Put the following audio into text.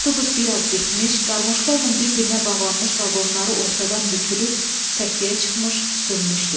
Avtobus biraz getmiş, qarmoka ilə bir-birinə bağlanmış vaqonları ortadan bükülüb, səkiyə çıxmış, sönmüşdü.